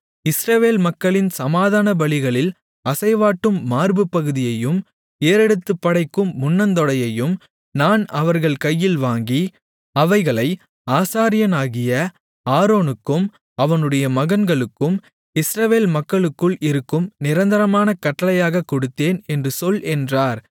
இஸ்ரவேல் மக்களின் சமாதானபலிகளில் அசைவாட்டும் மார்புப்பகுதியையும் ஏறெடுத்துப்படைக்கும் முன்னந்தொடையையும் நான் அவர்கள் கையில் வாங்கி அவைகளை ஆசாரியனாகிய ஆரோனுக்கும் அவனுடைய மகன்களுக்கும் இஸ்ரவேல் மக்களுக்குள் இருக்கும் நிரந்தரமான கட்டளையாகக் கொடுத்தேன் என்று சொல் என்றார்